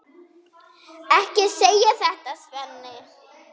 Ekki segja þetta, Svenni.